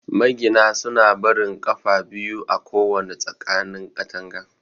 Magina suna barin 'ƙafa' biyu a kowana tsakanin katanga.